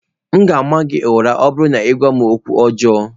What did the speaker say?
M ga-ama gị ụra, ọ bụrụ na ị na-agwa m okwu ọjọọ.